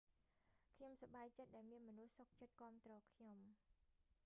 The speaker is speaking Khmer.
ខ្ញុំសប្បាយចិត្តដែលមានមនុស្សសុខចិត្តគាំទ្រខ្ញុំ